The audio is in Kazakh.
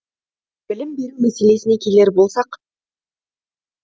білім беру мәселесіне келер болсақ